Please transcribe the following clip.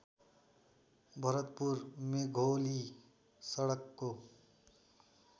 भरतपुर मेघोली सडकको